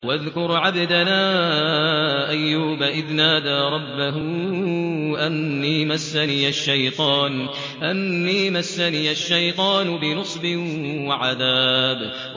وَاذْكُرْ عَبْدَنَا أَيُّوبَ إِذْ نَادَىٰ رَبَّهُ أَنِّي مَسَّنِيَ الشَّيْطَانُ بِنُصْبٍ وَعَذَابٍ